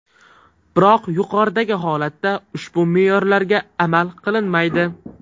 Biroq yuqoridagi holatda, ushbu me’yorlarga amal qilinmaydi.